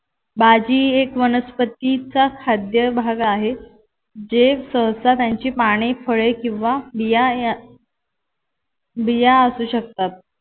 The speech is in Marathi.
भाजी ही एक वनस्पती चा खाद्य भाग आहे. जे सहसा त्यांची पाने फळे किंवा बियाया बिया असू शकतात